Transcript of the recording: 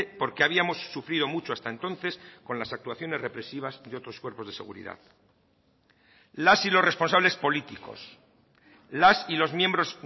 porque habíamos sufrido mucho hasta entonces con las actuaciones represivas de otros cuerpos de seguridad las y los responsables políticos las y los miembros